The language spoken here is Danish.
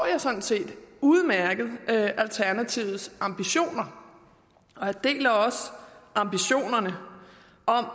jeg sådan set udmærket alternativets ambitioner jeg deler også ambitionerne om